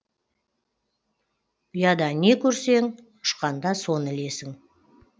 ұяда не көрсең ұшқанда соны ілесің